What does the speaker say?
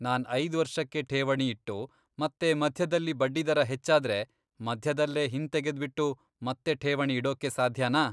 ನಾನ್ ಐದ್ ವರ್ಷಕ್ಕೆ ಠೇವಣಿ ಇಟ್ಟು, ಮತ್ತೆ ಮಧ್ಯದಲ್ಲಿ ಬಡ್ಡಿದರ ಹೆಚ್ಚಾದ್ರೆ, ಮಧ್ಯದಲ್ಲೇ ಹಿಂದೆತೆದ್ಬಿಟ್ಟು ಮತ್ತೆ ಠೇವಣಿ ಇಡೊಕ್ಕೆ ಸಾಧ್ಯನಾ?